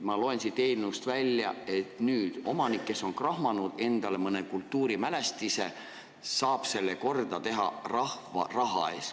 Ma loen siit eelnõust välja, et nüüd saab omanik, kes on krahmanud endale mõne kultuurimälestise, selle rahva raha eest korda teha.